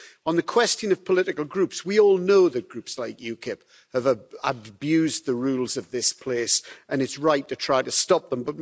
On the question of political groups, we all know that Groups like UKIP have abused the rules of this place, and it's right to try to stop them.